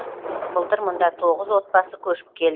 былтыр мұнда тоғыз отбасы көшіп келді